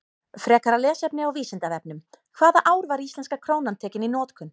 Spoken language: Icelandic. Frekara lesefni á Vísindavefnum: Hvaða ár var íslenska krónan tekin í notkun?